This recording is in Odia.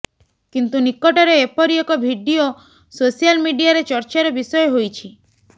କିନ୍ତୁ ନିକଟରେ ଏପରି ଏକ ଭିଡିଓ ସୋସିଆଲ ମିଡିଆରେ ଚର୍ଚ୍ଚାର ବିଷୟ ହୋଇଛି